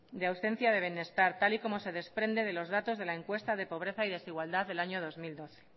de ausencia de bienestar tal y como se desprende de los datos de la encuesta de pobreza y desigualdad del año dos mil dos